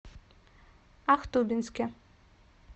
ахтубинске